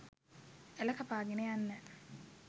ඇළ කපාගෙන යන්න